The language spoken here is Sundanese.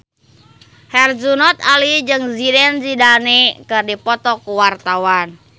Herjunot Ali jeung Zidane Zidane keur dipoto ku wartawan